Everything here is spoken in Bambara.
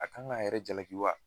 A kan ga yɛrɛ jalaki wa